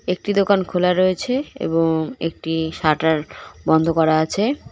একটি দোকান খোলা রয়েছে এবং একটি শাটার বন্ধ করা আছে।